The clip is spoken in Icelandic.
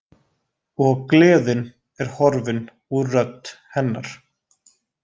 Og gleðin er horfin úr rödd hennar.